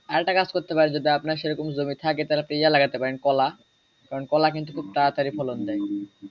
আরেকটা কাজ করতে পারেন যদি আপনার সেরকম জমি থাকে তাহলে আপনি ইয়া লাগাতে পারেন কলা কারণ কলা কিন্তু খুব তাড়াতড়ি ফলন দেয়।